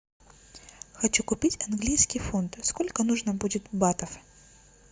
хочу купить английский фунт сколько нужно будет батов